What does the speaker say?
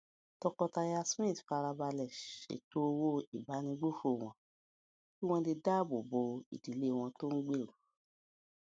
tọkọtaya smith fara balè ṣètò owó ìbánigbófò wọn kí wón lè dáàbò bo ìdílé wọn tó ń gbèrú